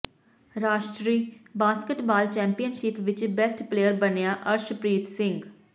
ਰਾਸ਼ਟਰੀ basketball championship ਵਿਚ best player ਬਣਿਆ ਅਰਸ਼ਪ੍ਰੀਤ ਸਿੰਘ